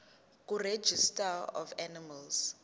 kuregistrar of animals